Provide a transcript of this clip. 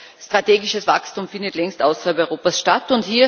Das heißt, strategisches Wachstum findet längst außerhalb Europas statt.